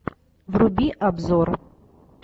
вруби обзор